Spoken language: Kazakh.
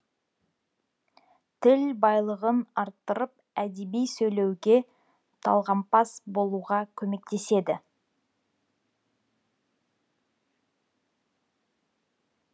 тіл байлығын арттырып әдеби сөйлеуге талғампаз болуға көмектеседі